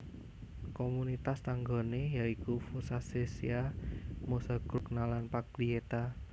Komunitas tanggané ya iku Fossacesia Mozzagrogna lan Paglieta